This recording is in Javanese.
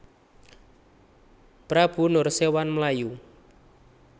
Prabu Nursèwan mlayu